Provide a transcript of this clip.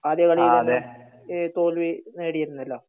ആദ്യകളിയിൽ തന്നെ തോൽവി നേടിയിരുന്നാലോ